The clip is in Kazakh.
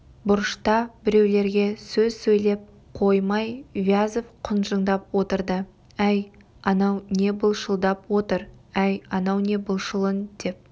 бұрышта біреулерге сөз сөйлеп қоймай вязов құнжыңдап отырды әй анау не былшылдап отыр әй анау былшылын деп